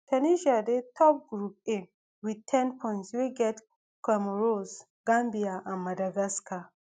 tunisia dey top group a wit ten points wey get comoros gambia and madagascar